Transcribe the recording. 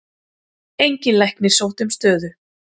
Enginn læknir sótti um stöðu